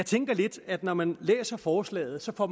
tænker lidt at når man læser forslaget får